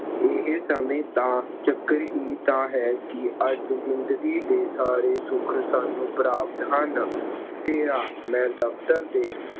ਇਹ ਸਮੇਂ ਦਾ ਚੱਕਰ ਹੀ ਤਾਂ ਹੈ ਕਿ ਅੱਜ ਜ਼ਿੰਦਗੀ ਦੇ ਸਾਰੇ ਸੁੱਖ ਸਾਨੂੰ ਪ੍ਰਾਪਤ ਹਨ। ਫੇਰਾ- ਮੈਂ ਦਫਤਰ ਦੇ